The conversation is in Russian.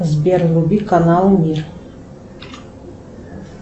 сбер вруби канал мир